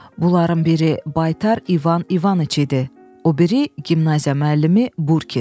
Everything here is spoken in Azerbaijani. Bunların biri baytar İvan İvaniç idi, o biri gimnaziya müəllimi Burkin.